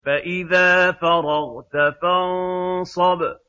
فَإِذَا فَرَغْتَ فَانصَبْ